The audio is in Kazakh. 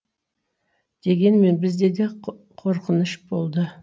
дегенмен бізде де қорқыныш болды